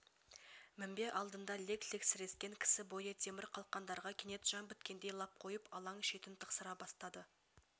мінбе алдында лек-лек сірескен кісі бойы темір қалқандарға кенет жан біткендей лап қойып алаң шетін тықсыра бастады